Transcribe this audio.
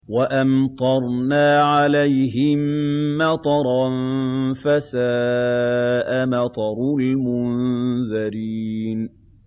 وَأَمْطَرْنَا عَلَيْهِم مَّطَرًا ۖ فَسَاءَ مَطَرُ الْمُنذَرِينَ